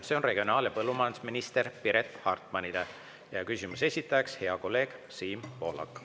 See on regionaal- ja põllumajandusminister Piret Hartmanile ja küsimuse esitaja on hea kolleeg Siim Pohlak.